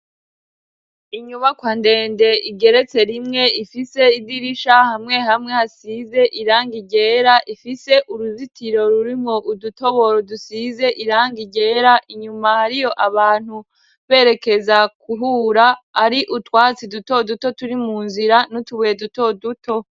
Inyubakwa ndende igeretse rimwe, ifise idirisha hamwe hamwe hasize irangi ryera ifise uruzitiro rurimwo udutoboro dusize irangi ryera, inyuma hariyo abantu berekeza kuhura ari utwatsi duto duto turi mu nzira n'utubuhe duto duto.